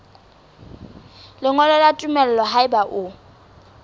lengolo la tumello haeba o